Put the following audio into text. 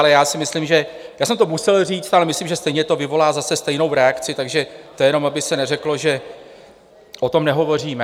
Ale já si myslím, že - já jsem to musel říct - ale myslím, že stejně to vyvolá zase stejnou reakci, takže to jenom aby se neřeklo, že o tom nehovoříme.